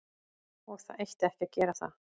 Og það ætti ekki að gera það.